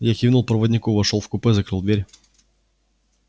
я кивнул проводнику вошёл в купе закрыл дверь